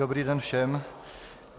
Dobrý den všem.